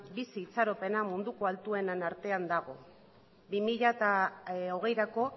bizi itxaropena munduko altuenen artean dago bi mila hogeirako